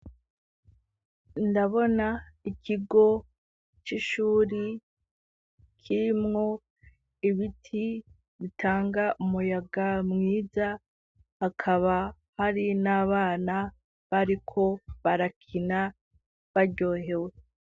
Ndabona ikigo c'ishuri kirimwo ibiti bitanga umuyaga mwiza hakaba hari n'abana bariko barakina baryohewe.